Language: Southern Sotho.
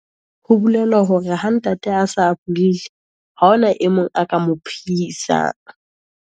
Ho bolela hore ha ntate, a se a buile haona, e mong a ka mo phehisang.